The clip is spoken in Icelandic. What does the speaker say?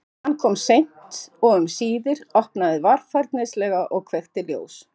Hann kom seint og um síðir, opnaði varfærnislega og kveikti ljós.